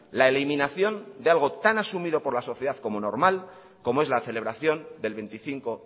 la eliminación de algo tan asumido por la sociedad como normal como es la celebración del veinticinco